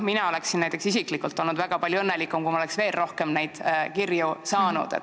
Mina oleksin isiklikult olnud palju õnnelikum, kui ma oleksin veel rohkem neid kirju saanud.